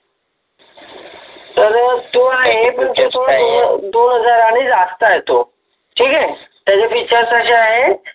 तर तो आहे पण तो थोडा दोन हजाराने जास्त आहे तो ठिक आहे पण त्याचे Features असे आहे